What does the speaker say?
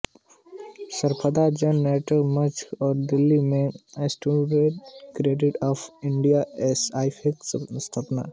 सफदर जन नाट्य मंच और दिल्ली में Students Federation of India SFI के स्थापकसदस्य थे